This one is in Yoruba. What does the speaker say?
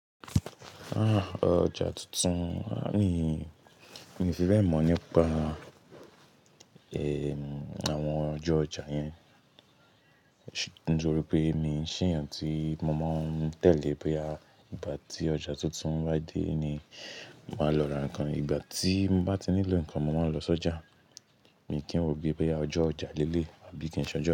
Ah! Ojá tuntun, aah mi, mi fi bẹ́ẹ̀ mọ̀ nípa ehmm, àwọn ọjọ́ ojá yẹn. Nítorí pé mi kìí ṣe èèyàn tí mo mọ̀ ń tẹ́lẹ̀ pé ah, ìgbà tí ojá tuntun ń wá dé ni màá lọ ra ǹkan, ìgbà tí mo bá ti nílò ǹkan mo máa lọ sọ́jà. Mi kì í wòó bíi pé ọjọ́ ojá léélé àbí kì í ṣọjọ́.